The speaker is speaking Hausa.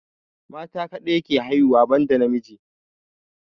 Mata kadai ke haihuwa ban da namiji